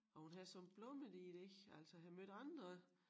Og hun har det som blommen i et æg altså jeg har mødt andre